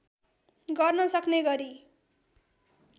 गर्न सक्ने गरी